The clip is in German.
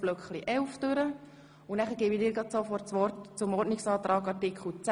Wir kommen zur Abstimmung über Artikel 11 Absatz 2. Art. 11 Abs. 2